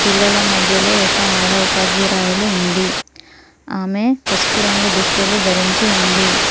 పిల్లల మధ్యలో ఒక ఆడ ఉపాధ్యురాయలు ఉంది ఆమె పసుపు రంగు దుస్తులు ధరించి ఉంది.